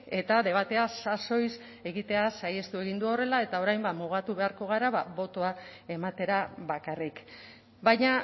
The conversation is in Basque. eta debatea sasoiz egitea saihestu egin du horrela eta orain ba mugatu beharko gara botoa ematera bakarrik baina